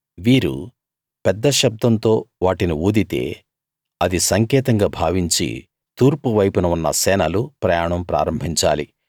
మీరు పెద్ద శబ్దంతో వాటిని ఊదితే అది సంకేతంగా భావించి తూర్పు వైపున ఉన్న సేనలు ప్రయాణం ప్రారంభించాలి